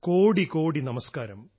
കോടി കോടി നമസ്ക്കാരം